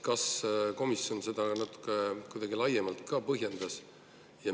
Kas komisjon seda natuke laiemalt ka põhjendas?